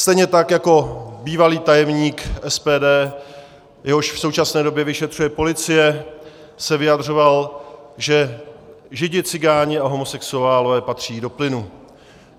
Stejně tak jako bývalý tajemník SPD, jehož v současné době vyšetřuje policie, se vyjadřoval, že Židi, Cikáni a homosexuálové patří do plynu.